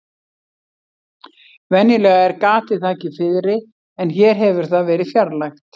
Venjulega er gatið þakið fiðri en hér hefur það verið fjarlægt.